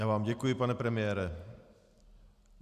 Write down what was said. Já vám děkuji, pane premiére.